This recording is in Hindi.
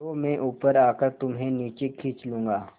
तो मैं ऊपर आकर तुम्हें नीचे खींच लूँगा